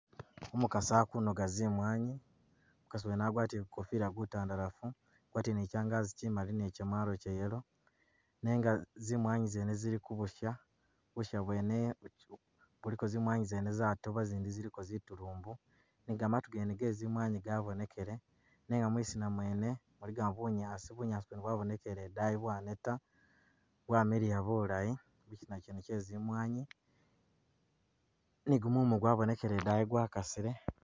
Umukasi akunoga zimwanyi, umukasi wene agwatiĺe gukofila gutandalafu boti ni kyanganzi kyimali ni kyamwalo che yellow nenga zimwanyi zene zili kubusha ,busha bwene buliko zimwanyi zene zatoba zindi ziliko zitulumbu ne gamatu gene ge zimwanyi gabonekele nenga mwisina mwene muligamu bunyaasi, bunyaasi bwene bwabonekele edayi bwaneta ,bwamiliya bulayi ,kyisina kyene kye zimwanyi ,ni gumumu gwabonekele edayi gwakasile